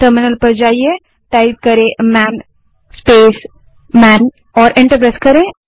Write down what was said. terminal पर जाएँ और मन स्पेस मन टाइप करें और एंटर दबायें